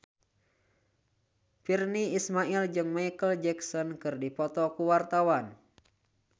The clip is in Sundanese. Virnie Ismail jeung Micheal Jackson keur dipoto ku wartawan